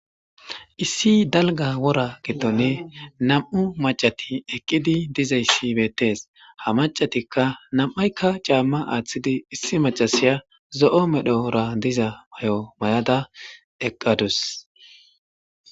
Issi dalgga wora gidoni nam'u mac'ati eqidi dizaysi beetes. Ha mac'atikka nam'aykka c'ama athidi issi Mac'asiya zo'o medhora diza mayo mayada eqadus